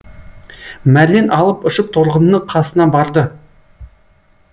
мәрлен алып ұшып торғынның қасына барды